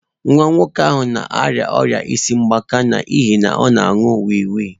Nwa nwoke ahụ na-arịa ọrịa isi mgbaka n'ihi na ọ na-aṅụ wii wii.